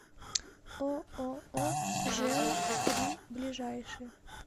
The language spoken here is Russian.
ооо жэу три ближайший